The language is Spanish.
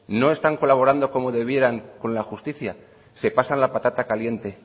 no están colaborando como debieran con la justicia se pasan la patata caliente